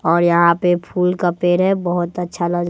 और यहां पे फूल का पेड़ है बहुत अच्छा लग--